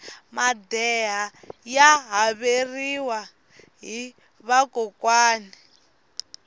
madeha ya haveriwa hi vakokwani